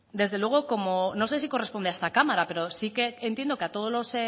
desde luego no sé si corresponde a esta cámara pero sí que entiendo que a todos los